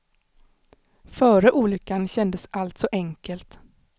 Före olyckan kändes allt så enkelt.